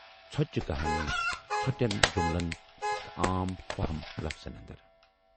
ژھۅچہِ کہانی، ژھۅٹٮ۪ن جُملن تہٕ عام فہم لفظن اندر۔